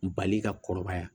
Bali ka kɔrɔbaya